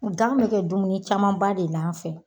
Gan be kɛ dumuni camanba de la an fɛ